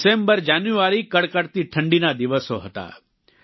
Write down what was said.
December જાન્યુઆરી કડકડતી ઠંડીના દિવસો હતા